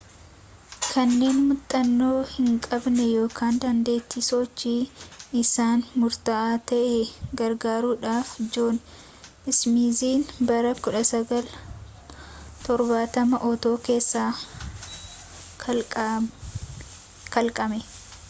kanneen muuxannoo hinqabne ykn dandeettiin sochii isaanii murtaawaa ta'e gargaaruudhaaf joon ismiiziin bara 1970 oota keessa kalaqame